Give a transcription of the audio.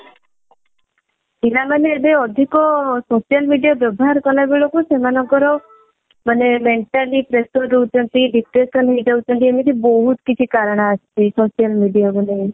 ପିଲା ମାନେ ଏବେ ଅଧିକ social media ବ୍ୟବହାର କଲାବେଳକୁ ସେମାନଙ୍କର ମାନେ mentally pressure ରହୁଛନ୍ତି depression ହେଇଯାଉଛନ୍ତି ଏମିତି ବହୁତ କିଛି କାରଣ ଆସିଛି social media କୁ